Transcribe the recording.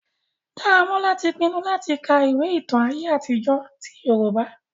Daramola ti pinnu latì ka ìwe ìtan àye àtijọ ti Yorùbá.